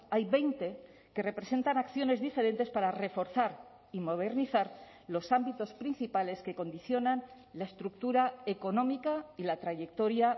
hay veinte que representan acciones diferentes para reforzar y modernizar los ámbitos principales que condicionan la estructura económica y la trayectoria